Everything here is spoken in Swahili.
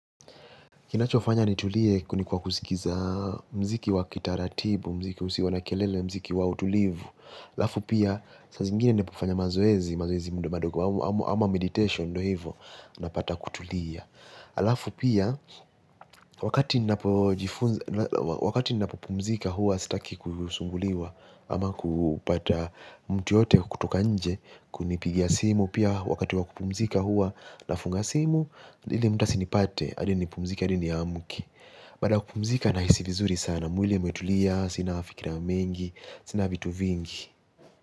Kinachofanya nitulie ni kwa kusikiza muziki wa kitaratibu, muziki usio na kelele, muziki wa utulivu. Halafu pia, saa zingine napofanya mazoezi, mazoezi madogo, ama meditation ndio hivo, napata kutulia. Halafu pia, wakati nina popumzika huwa sitaki kusumbuliwa, ama kupata mtu yoyote kutoka nje, kunipigia simu. Pia wakati wakupumzika huwa na funga simu. Ili mtu asinipate hadi nipumzike hadi niamke. Baada ya kupumzika nahisi vizuri sana. Mwili umetulia, sina mafikira mengi, sina vitu vingi.